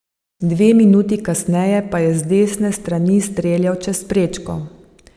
Dve minuti kasneje pa je z desne strani streljal čez prečko.